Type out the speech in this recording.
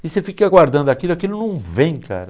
E você fica aguardando aquilo e aquilo não vem, cara.